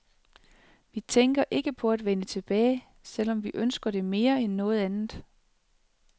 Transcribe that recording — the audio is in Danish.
Vi tænker ikke på at vende tilbage, selv om vi ønsker det mere end noget andet.